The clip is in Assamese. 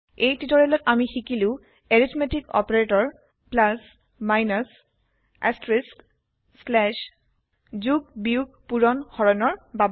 এই টিওটৰিয়েলত আমি শিকিলো এৰিথমেতিক অপাৰেটৰ যোগ বিয়োগ পুৰণ হৰণৰ বাবে